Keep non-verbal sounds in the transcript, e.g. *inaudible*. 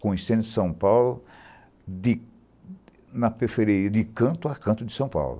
Conhecendo São Paulo de na *unintelligible* de canto a canto de São Paulo.